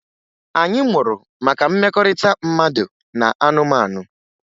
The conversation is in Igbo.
Anyị mụrụ maka mmekọrịta mmadụ na anụmanụ